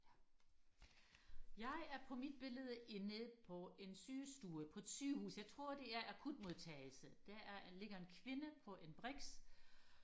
ja jeg er på mit billede i nede på en sygestue på et sygehus jeg tror det er akutmodtagelse der er ligger en kvinde på en brix